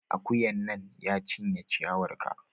Akuyan nan, ya cinye ciyawar ka!